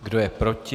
Kdo je proti?